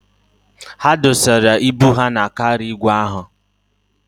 Ha dọsara ibu ha na kaarịa igwe ahụ.